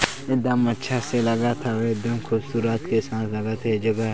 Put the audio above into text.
एकदम अच्छा से लगत हवे एकदम खूबसूरत के साथ लगत हे ये जगह--